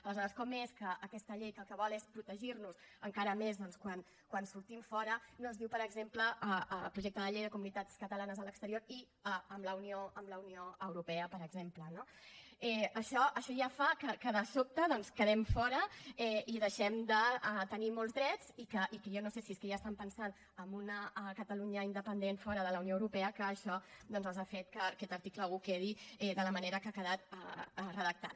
aleshores com és que aquesta llei que el que vol és protegir nos encara més doncs quan sortim fora no es diu per exemple el projecte de llei de comunitats catalanes a l’exterior i a la unió europea per exemple no això ja fa que de sobte doncs en quedem fora i deixem de tenir molts drets i que jo no sé si és que ja estan pensant en una catalunya independent fora de la unió europea i que això ha fet que aquest article un quedi de la manera que ha quedat redactat